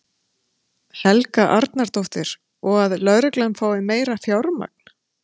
Helga Arnardóttir: Og að lögreglan fái meira fjármagn?